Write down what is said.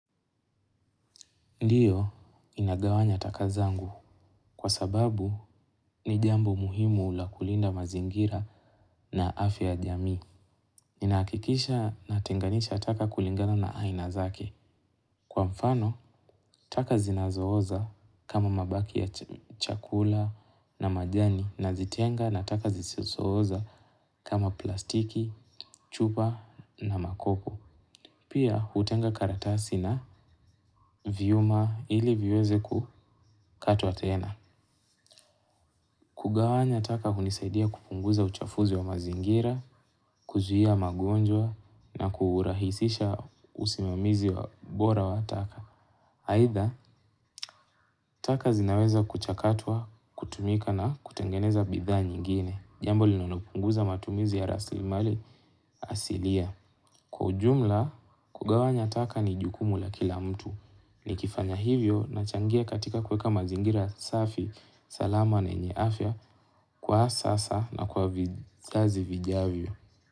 Ndiyo ninagawanya taka zangu kwa sababu ni jambo muhimu la kulinda mazingira na afya ya jamii. Ninahakikisha natenganisha taka kulingana na aina zake. Kwa mfano, taka zinazooza kama mabaki ya chakula na majani nazitenga na taka zisizooza kama plastiki, chupa na makoku. Pia hutenga karatasi na vyuma ili viweze kukatwa tena. Taka hunisaidia kupunguza uchafuzi wa mazingira, kuzuia magonjwa na kuurahisisha usimamizi wa bora wa taka. Aidha, taka zinaweza kuchakatwa, kutumika na kutengeneza bidhaa nyingine. Jambo linalopunguza matumizi ya rasilimali asilia. Kwa jumla, kugawanya taka ni jukumu la kila mtu. Nikifanya hivyo nachangia katika kueka mazingira safi, salama na yenye afya kwa sasa na kwa vizazi vijavyo.